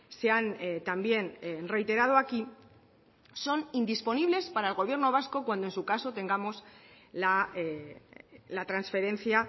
se han también reiterado aquí son indisponibles para el gobierno vasco cuando en su caso tengamos la transferencia